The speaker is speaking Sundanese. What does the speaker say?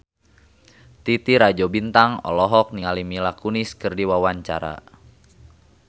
Titi Rajo Bintang olohok ningali Mila Kunis keur diwawancara